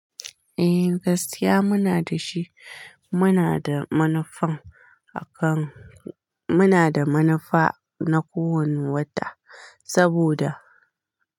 Eh, gaskiya muna da shi. Muna da manufa akan, muna da manufa na kowane wata saboda.